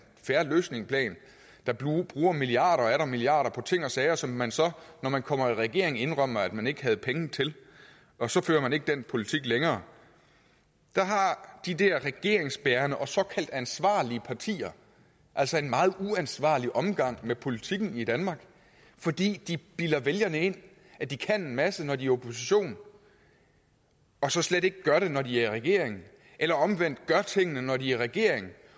fair løsning der bruger milliarder og atter milliarder på ting og sager som man så når man kommer i regering indrømmer at man ikke havde penge til og så fører man ikke den politik længere der har de der regeringsbærende og såkaldt ansvarlige partier altså en meget uansvarlig omgang med politikken i danmark fordi de bilder vælgerne ind at de kan en masse når de opposition og så slet ikke gør det når de er i regering eller omvendt de gør tingene når de er i regering